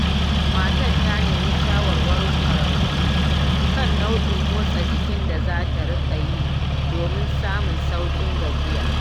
Matar ta nemi shawarar ƙwararru kan nau'in motsa jikin da za ta riƙa yi domin samun sauƙin gajiya.